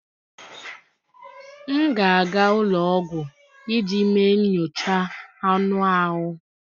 M ga-aga ụlọ ọgwụ iji mee nyocha anụ ahụ